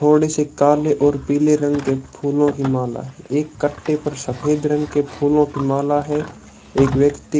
और इसे काले और पीले रंग के फूलों की माला एक कट्टे पर सफेद रंग के फूलों की माला है एक व्यक्ति--